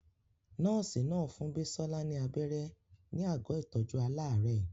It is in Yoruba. Nọ́ọ̀sì náà fún Bisola ní abẹ́rẹ́ ní àgọ́ ìtọ́jú aláàárẹ̀.